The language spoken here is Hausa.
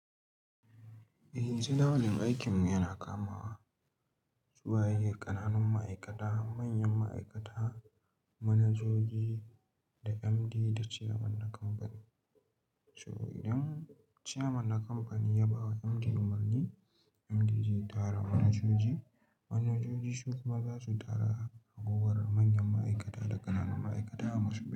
Eh, tsawonin aikinmu yana kamawa su waye ƙananun ma'aikata, manyan ma'aikata, manajoji da MD da chairman na kamfani. So idan chairman na kamfani ya bawa MD umarni, MD zai tara manajoji, manajoji su kuma za su tara ragowar manyan ma'aikata da ƙananun ma'aikata a masu.